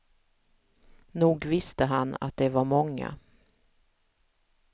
Nog visste han att det var många.